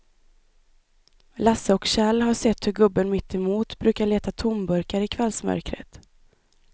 Lasse och Kjell har sett hur gubben mittemot brukar leta tomburkar i kvällsmörkret.